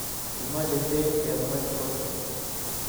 Kimache peek ke mwet kot